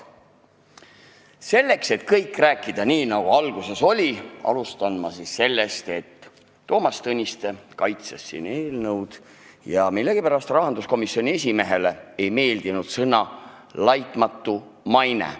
Selleks, et rääkida kõik nii, nagu alguses oli, alustan sellest, et Toomas Tõniste kaitses siin seda eelnõu ja millegipärast rahanduskomisjoni esimehele ei meeldinud sõnad "laitmatu maine".